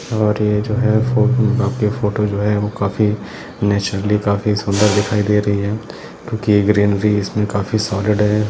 और ये जो है फोटो जो है वो काफी नैचुरली काफी सूंदर दिखाई दे रही है क्योंकी इसमें ग्रेनवी काफी सॉलिड है।